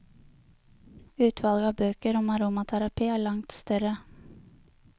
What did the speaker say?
Utvalget av bøker om aromaterapi er langt større.